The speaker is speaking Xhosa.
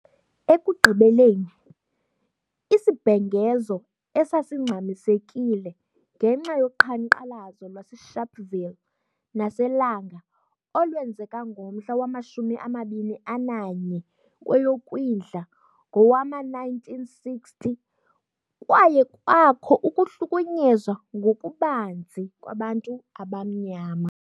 Ekugqibeleni , isibhengezo esasingxamisekile ngenxa yoqhankqalazo lwaseSharpeville naseLanga olwenzeka ngomhla wama 21 kweyoKwindla ngowama-1960, kwaye kwakho ukuhlukunyezwa ngokubanzi kwabantu abamnyama.